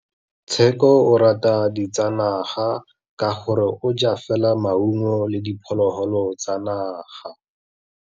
Tshekô o rata ditsanaga ka gore o ja fela maungo le diphologolo tsa naga.